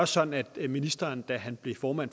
sådan at ministeren da han blev formand